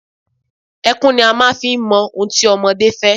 Ẹkún ni a máa ń fi ń mọ ohun tí ọmọdé fẹ́.